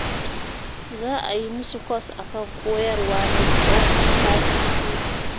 Za a yi musu kwas a kan koyarwa na tsahon sati biyu